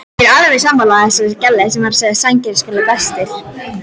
Ásgeir: En þið eruð samt bestu vinir, eða hvað?